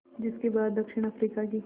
जिस के बाद दक्षिण अफ्रीका की